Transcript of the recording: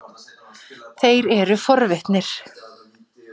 Þeir eru forvitnir.